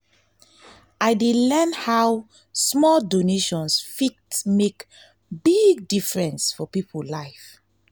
i dey learn how small donations fit make big difference for people life.